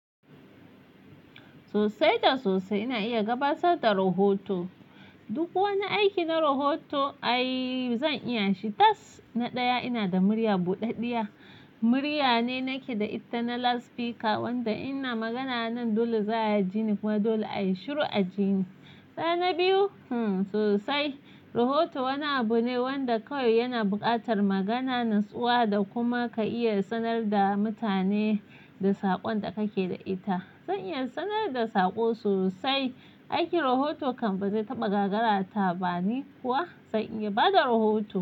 Sosai da sosai ina iya gabatar da rahoto. Duk wani aiki na rahoto ai zan iya shi. Tas! Na ɗaya ina da murya buɗaɗɗiya. Murya ne nake da ita na loudspeaker wanda ina magana nan dole za a jini kuma dole a yi shiru a ji ni. Tsana biyu, hmm sosai. Rahoto wani abu ne wanda kawai yana buƙatar magana natsuwa da kuma ka iya sanar da mutane da saƙon da kake da ita. Zan iya sanar da saƙo sosai. Aiki rahoto kan ba zai taɓa gagara ta ba ni kuwa? Zan iya bada rahoto.